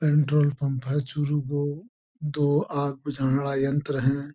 Petrol pump है चूरू को दो आग बुझाने वाले यंत्र है।